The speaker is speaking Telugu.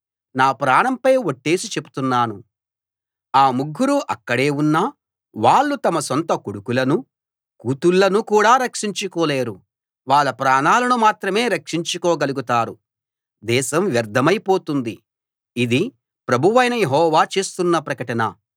నా ప్రాణంపై ఒట్టేసి చెప్తున్నాను ఆ ముగ్గురూ అక్కడే ఉన్నా వాళ్ళు తమ సొంత కొడుకులనూ కూతుళ్ళనూ కూడా రక్షించుకోలేరు వాళ్ళ ప్రాణాలను మాత్రమే రక్షించుకోగలుగుతారు దేశం వ్యర్ధమై పోతుంది ఇది ప్రభువైన యెహోవా చేస్తున్న ప్రకటన